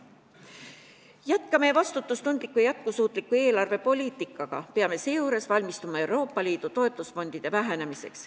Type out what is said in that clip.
Jätkame vastutustundlikku ja jätkusuutlikku eelarvepoliitikat ning peame seejuures valmistuma Euroopa Liidu toetusfondide vähenemiseks.